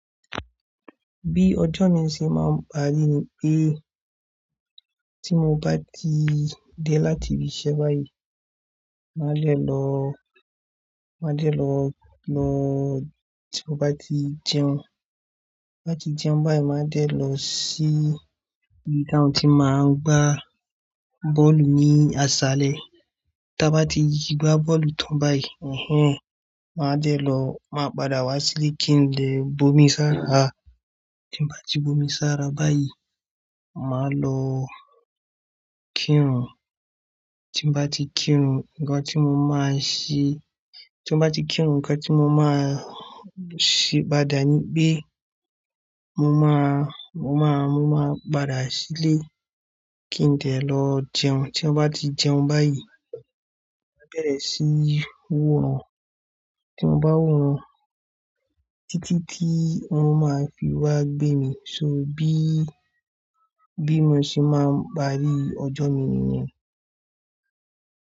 Bí ọjọ́ mi ṣe máa ń parí ni pé tí mo bá ti dé láti ibi iṣẹ́ báyìí, màá lè lọ, màá dè lọ, lọ tí mo bá ti jẹun, bá ti jẹun báyìí, màá dè lọ sí ibi tí àwọn tí máa ń gbá bọ́ọ̀lù ní àsálẹ̀. Tí a bá ti gbá bọ́ọ̀lù tán báyìí, ẹ̀hen, màá dè lọ, màá padà wá sílé kí n lè bomi sára. Tí mo bá ti bomi sára báyìí, màá lọ kírun. Tí mo bá ti kírun, nǹkan tí mo máa ṣe, tí mo bá ti kírun, nǹkan tí mo máa ṣe padà ni pé mo máa, mo máa, mo máa padà sílé kí n de lọ jẹun. Tí mo bá ti jẹun báyìí, màá bẹ̀rẹ̀ síí woran Tí mo bá woran títí tí wọ́n máa fi wá gbé mi só bí, bí mo ṣe máa ń parí ọjọ́ mi nìyẹn.